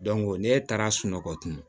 n'e taara sunɔgɔ tun